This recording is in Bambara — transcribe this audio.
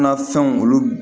An ka fɛnw olu